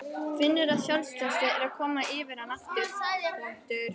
Finnur að sjálfstraustið er að koma yfir hann aftur.